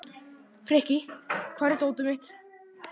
Frikki, hvar er dótið mitt?